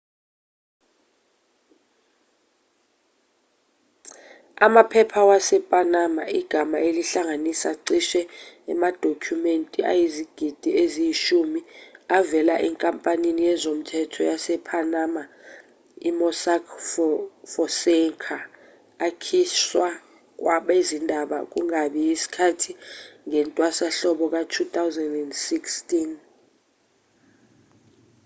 amaphepha wasepanama igama elihlanganisa cishe amadokhumenti ayizigidi eziyishumi avela enkampanini yezomthetho yasepanama i-mossack fonseca akhishwa kwabezindaba kungakabi yisikhathi ngentwasahlobo ka-2016